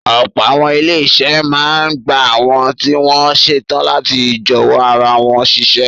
Ọ̀pọ̀ àwọn ilé-iṣẹ́ máa ń gba àwọn tí wọ́n ṣetán láti jọ̀wọ́ ara wọn síṣẹ́.